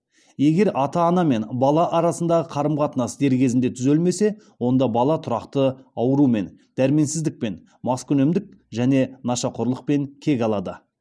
егер ата ана мен бала арасындағы қарым қатынас дер кезінде түзелмесе онда бала тұрақты аурумен дәрменсіздікпен маскүнемдік және нашақорлықпен кек алады